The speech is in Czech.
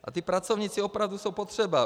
A ti pracovníci opravdu jsou potřeba.